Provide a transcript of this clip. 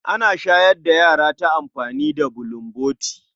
Ana shayar da yara ta amfani da bulomboti.